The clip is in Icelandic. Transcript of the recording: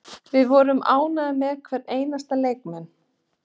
Við vorum ánægðir með hvern einasta leikmann.